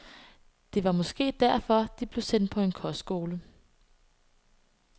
Måske var det derfor, de blev sendt på en kostskole?